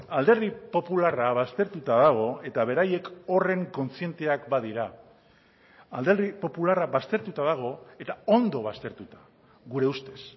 alderdi popularra baztertuta dago eta beraiek horren kontzienteak badira alderdi popularra baztertuta dago eta ondo baztertuta gure ustez